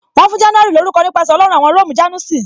Wọn fún January lórúko nípasẹ̀ Ọlọ́run awon Róòmù "Janus "